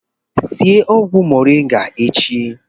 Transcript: Sie ọgwụ moringa echi!